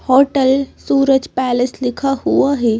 Hotel Suraj palace लिखा हुआ है।